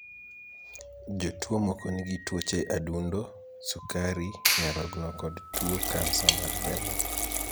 Jotuo moko nigi tuoche adundo, sukari, nyarogno kod tuo kansa mar remo